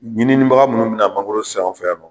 Ɲinibaga minnu bɛna mangoro san an fɛ yan nɔ